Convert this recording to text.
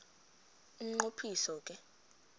umnqo phiso ke